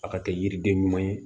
A ka kɛ yiriden ɲuman ye